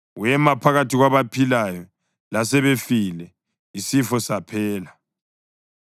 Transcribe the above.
Wema phakathi kwabaphilayo lasebefile, isifo saphela.